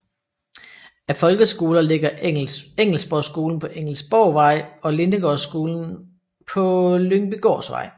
Af folkeskoler ligger Engelsborgskolen på Engelsborgvej og Lindegårdsskolen på på Lyngbygårdsvej